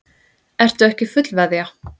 Ertu ekki fullveðja?